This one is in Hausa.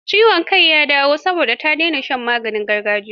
Ciwon kai ya dawo, saboda ta dena shan maganin gargajiyar.